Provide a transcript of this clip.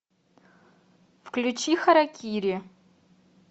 включи харакири